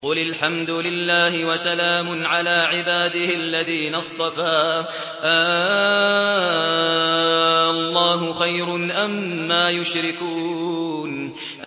قُلِ الْحَمْدُ لِلَّهِ وَسَلَامٌ عَلَىٰ عِبَادِهِ الَّذِينَ اصْطَفَىٰ ۗ آللَّهُ خَيْرٌ أَمَّا يُشْرِكُونَ